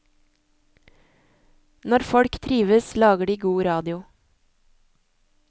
Når folk trives lager de god radio.